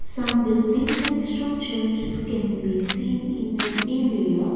some building like structures can be seen in an area.